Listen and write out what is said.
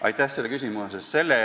Aitäh selle küsimuse eest!